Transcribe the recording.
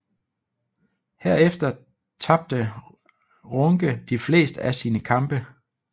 Herefter tabte Runge de fleste af sine kampe